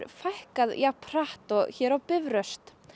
fækkað jafnhratt og hér á Bifröst